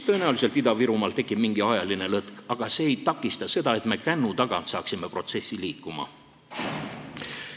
Tõenäoliselt tekib Ida-Virumaal mingi ajaline lõtk, aga see ei takista seda, et me saaksime protsessi kännu tagant välja.